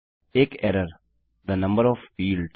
एक error the number of fields